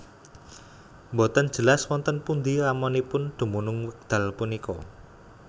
Boten jelas wonten pundi ramanipun dumunung wekdal punika